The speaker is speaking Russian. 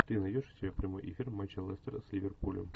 ты найдешь у себя прямой эфир матча лестера с ливерпулем